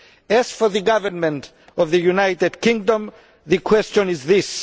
As for the government of the United Kingdom, the question is this.